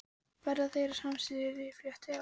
Verða þeir af sama styrkleikaflokki og Atli?